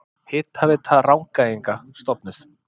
Hitaveita Rangæinga stofnuð.